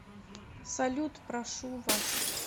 салют прошу вас